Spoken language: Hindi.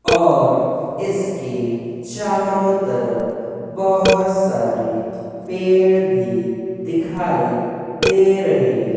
और इसके चारों तरफ बहोत सारी पेड़ भी दिखाई दे रही--